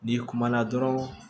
N'i kumana dɔrɔn